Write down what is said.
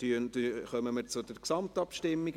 Somit kommen wir, wie gesagt, zur Gesamtabstimmung.